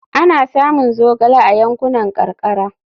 Ana samun zogale a yankunan karkara.